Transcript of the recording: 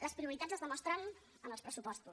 les prioritats es demostren en els pressupostos